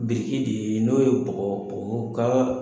Biriki de de ye n'o ye bɔgɔ bɔgɔmugu kaba